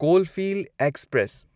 Coalfield express